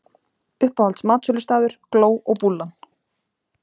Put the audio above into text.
Uppáhalds matsölustaður: Gló og Búllan.